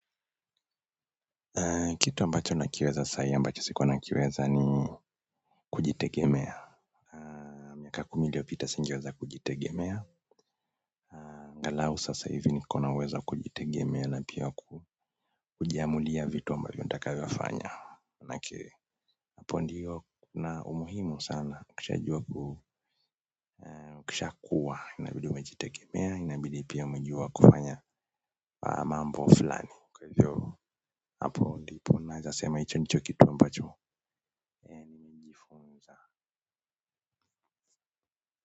Kitu ambacho nakiweza sahii ambacho sikuwa nakiweza ni kujitegemea miaka kumi iliyopita singeweza kujitegemea angalau sasa hivi nikona uwezo wa kujitegemea na pia ku kujiamulia vitu ambavyo nitakavyofanya. Nakiri hapo ndiyo kuna umuhimu sana kishajua kisha kuwa inabidi umejitegemea inabidi pia umejua kufanya haya mambo fulani kwa hivyo hapo ndipo mimi naweza sema hicho nicho kitu ambacho.